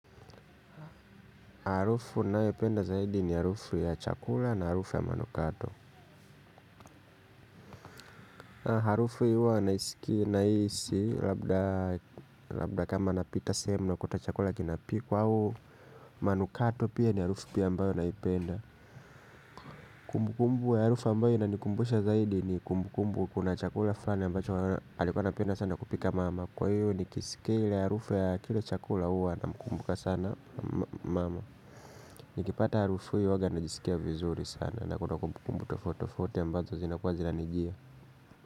Harufu ninayopenda zaidi ni harufu ya chakula na harufu ya manukato. Harufu hii huwa nahisi labda kama napita sehemu nakuta chakula kinapikwa au manukato pia ni harufu pia ambayo naipenda. Kumbukumbu ya harufu ambayo inanikumbusha zaidi ni kuna chakula fulani ambacho alikuwa napenda sana kupika mama. Kwa hivyo nikisikia ile harufu ya kile chakula huwa namkumbuka sana mama. Nikipata harufu hiyo huwa najisikia vizuri sana. Nakuta kumbukumbu tofauti tofauti ambazo zina kuwa zinanijia.